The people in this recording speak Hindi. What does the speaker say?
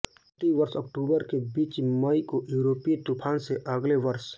प्रति वर्ष अक्टूबर के बीच मई को यूरोपीय तूफान से अगले वर्ष